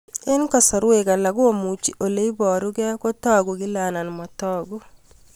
Eng' kasarwek alak komuchi ole parukei kotag'u kila anan matag'u